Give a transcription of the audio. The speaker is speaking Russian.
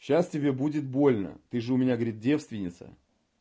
сейчас тебе будет больно ты же у меня говорит девственница